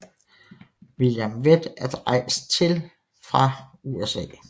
William Vett er rejst til fra USA